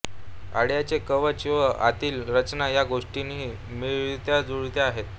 अंड्याचे कवच व आतील रचना या गोष्टीही मिळत्याजुळत्या आहेत